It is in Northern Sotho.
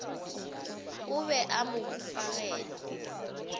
o be a mo hufagela